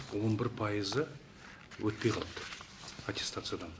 он бір пайызы өтпей қалды аттестациядан